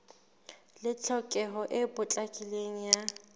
le tlhokeho e potlakileng ya